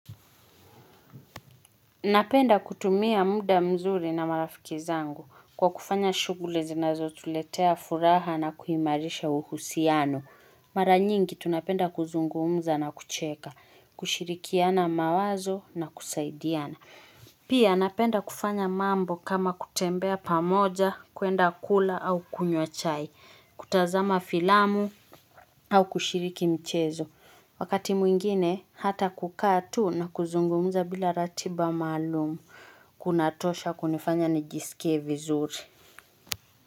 Napenda kutumia muda mzuri na marafiki zangu kwa kufanya shughuli zinazotuletea furaha na kuimarisha uhusiano. Mara nyingi tunapenda kuzungumza na kucheka, kushirikiana mawazo na kusaidiana. Pia napenda kufanya mambo kama kutembea pamoja, kuenda kula au kunywa chai, kutazama filamu au kushiriki mchezo. Wakati mwingine hata kukaa tu na kuzungumuza bila ratiba maalum kunatosha kunifanya nijisikie vizuri.